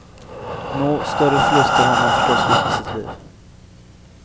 Nå, större förluster har man förstås gjort i sitt liv.